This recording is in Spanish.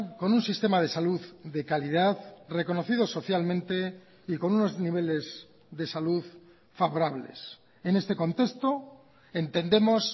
con un sistema de salud de calidad reconocido socialmente y con unos niveles de salud favorables en este contexto entendemos